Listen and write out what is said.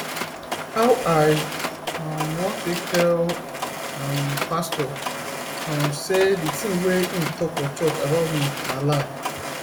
how i um wan take tell um pastor um sey di tin wey im talk for church about me na lie